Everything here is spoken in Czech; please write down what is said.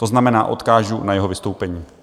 To znamená, odkážu na jeho vystoupení.